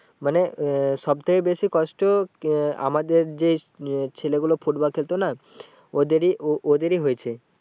মানে আহ সব থেকে বেশি কষ্ট আমাদের যে আহ ছেলে গুলো football খেলতো না ওদেরই, ওদেরই হয়েছে।